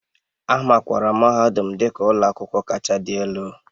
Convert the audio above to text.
A makwaara mahadum dị ka ụlọ akwụkwọ kacha adị elu